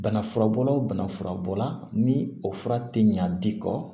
Bana furabɔlaw bana furabɔla ni o fura tɛ ɲa di kɔ